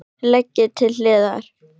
Leggið til hliðar.